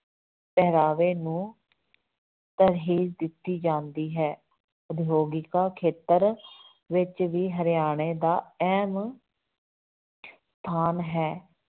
ਪਹਿਰਾਵੇ ਨੂੰ ਤਰਜੀਹ ਦਿੱਤੀ ਜਾਂਦੀ ਹੈ, ਉਦਯੋਗਿਕ ਖੇਤਰ ਵਿੱਚ ਵੀ ਹਰਿਆਣੇ ਦਾ ਅਹਿਮ ਸਥਾਨ ਹੈ